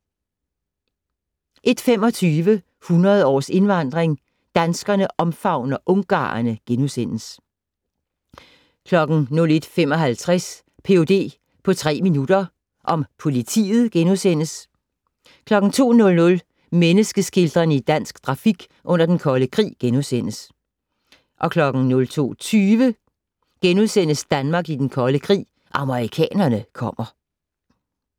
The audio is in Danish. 01:25: 100 års indvandring - Danskerne omfavner ungarerne * 01:55: Ph.d. på tre minutter - om politiet * 02:00: Menneske-skildrerne i dansk grafik under Den Kolde Krig * 02:20: Danmark i Den Kolde Krig, amerikanerne kommer *